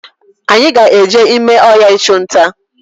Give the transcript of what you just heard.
Anyị ga-eje ime ọhịa ịchunta